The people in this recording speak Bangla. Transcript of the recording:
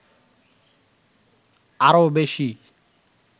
আরো বেশি